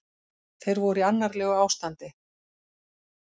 Þeir voru í annarlegu ástandi